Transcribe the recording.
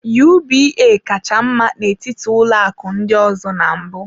UBA kacha mma n'etiti ụlọ akụ ndị ọzọ na mbụ.